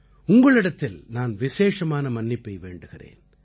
உங்களிடத்தில் நான் விசேஷமான மன்னிப்பை வேண்டுகிறேன்